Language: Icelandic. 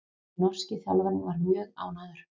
Norski þjálfarinn mjög ánægður